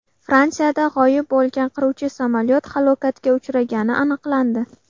Fransiyada g‘oyib bo‘lgan qiruvchi samolyot halokatga uchragani aniqlandi.